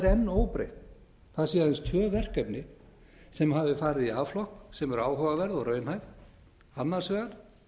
enn óbreytt það séu aðeins tvö verkefni sem hafi farið í a flokk sem eru áhugaverð og raunhæf annars vegar